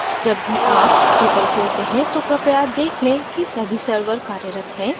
जब भी आप drupal खोलते हैं तो कृपया check लें कि सभी servers कार्यरत हैं